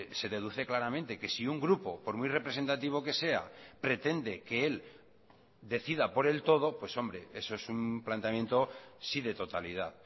se deduce claramente que si un grupo por muy representativo que sea pretende que él decida por él todo pues hombre eso es un planteamiento sí de totalidad